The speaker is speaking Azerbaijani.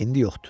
İndi yoxdur.